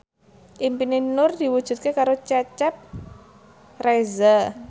impine Nur diwujudke karo Cecep Reza